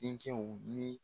Den cɛw ni